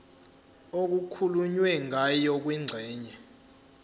okukhulunywe ngayo kwingxenye